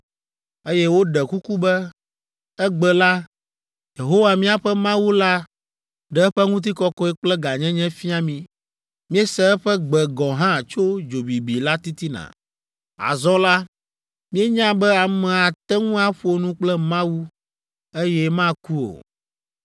eye woɖe kuku be, “Egbe la, Yehowa, míaƒe Mawu la ɖe eƒe ŋutikɔkɔe kple gãnyenye fia mí. Míese eƒe gbe gɔ̃ hã tso dzo bibi la titina. Azɔ la, míenya be ame ate ŋu aƒo nu kple Mawu, eye maku o.